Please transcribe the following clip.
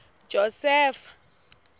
josefa